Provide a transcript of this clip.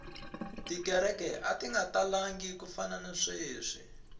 tikereke ati nga talangi ku fana na sweswi